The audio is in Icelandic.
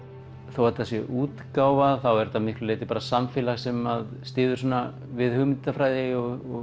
þó að þetta sé útgáfa þá er þetta að miklu leyti samfélag sem styður við hugmyndafræði og